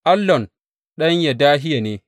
Allon ɗan Yedahiya ne.